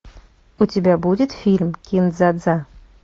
у тебя будет фильм кин дза дза